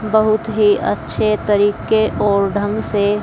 बहुत ही अच्छे तरीके और ढंग से--